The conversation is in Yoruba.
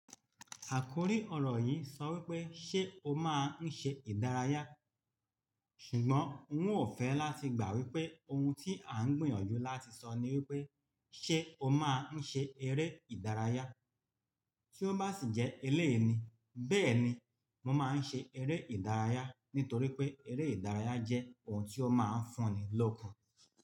Àkòrí ọ̀rọ̀ yìí sọ wípé ṣé o máa ń ṣe ìdárayá? Ṣùgbọ́n n ó fẹ́ láti gbà wípé ohun tí à ń gbìyànjú láti sọ ni wípé ṣé o máa ń ṣe eré ìdárayá? Tí ó bá sì jẹ́ eléyi ni, bẹ́ẹ̀ni mo máa ń ṣe eré ìdárayá nítorí pé eré ìdárayá jẹ́ ohun tí ó máa ń fún ni lọ́kun.